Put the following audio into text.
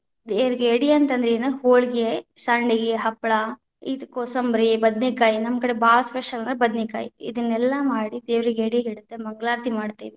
ದೇವ್ರಗೆ ಎಡಿ ಅಂತ ಅಂದ್ರ ಏನ ಹೋಳಗೆ, ಸಂಡಗಿ, ಹಪ್ಪಳ ಇದ ಕೊಸಂಬರಿ, ಬದನೆಕಾಯಿ ನಮ್ಮ ಕಡೆ ಭಾಳ special ಅಂದ್ರ ಬದನೆಕಾಯಿ, ಇದನ್ನೆಲ್ಲಾ ಮಾಡಿ ದೇವ್ರೀಗೆ ಎಡಿ ಹಿಡಿದ ಮಂಗಳಾರತಿ ಮಾಡ್ತೇವಿ.